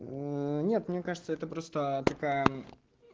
нет мне кажется это просто такая